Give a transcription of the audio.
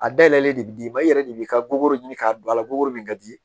A dayɛlɛlen de bɛ d'i ma i yɛrɛ de b'i ka goro ɲini k'a don a la goro min ka di